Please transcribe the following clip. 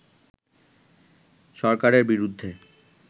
সরকারের বিরুদ্ধে